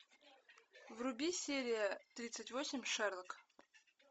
вруби серия тридцать восемь шерлок